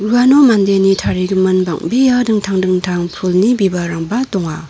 uano mandeni tarigimin bang·bea dingtang dingtang pulni bibalrangba donga.